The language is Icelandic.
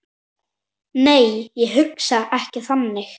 Nei, ég hugsa ekki þannig.